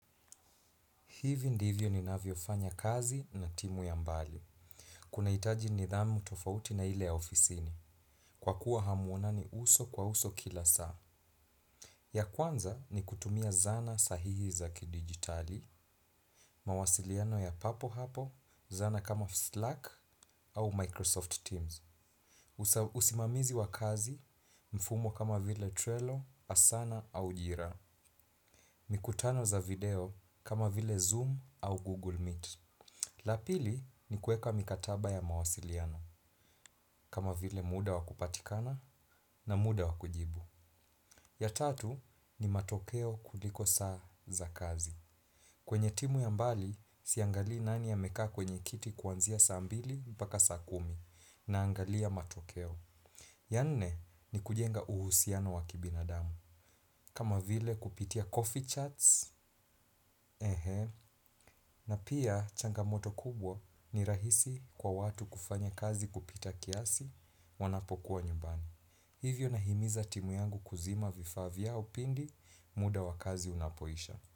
Hivi ndivyo ninavyofanya kazi na timu ya mbali. Kunahitaji nidhamu tofauti na ile ya ofisini. Kwa kuwa hamuonani uso kwa uso kila saa. Ya kwanza ni kutumia zana sahihi za kidigitali. Mawasiliano ya papo hapo, zana kama Slack au Microsoft Teams. Usimamizi wa kazi, mfumo kama vile Trello, Asana au Jira. Mikutano za video kama vile Zoom au Google Meet. La pili ni kueka mikataba ya mawasiliano, kama vile muda wa kupatikana na muda wa kujibu. Ya tatu ni matokeo kuliko saa za kazi. Kwenye timu ya mbali, siangali nani amekaa kwenye kiti kwanzia saa mbili mpaka saa kumi naangalia matokeo. Ya nne ni kujenga uhusiano wakibinadamu. Kama vile kupitia coffee charts, na pia changamoto kubwa ni rahisi kwa watu kufanya kazi kupita kiasi wanapokuwa nyumbani. Hivyo nahimiza timu yangu kuzima vifaa vyao pindi muda wa kazi unapoisha.